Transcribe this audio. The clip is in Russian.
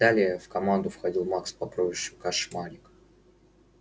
далее в команду входил макс по прозвищу кошмарик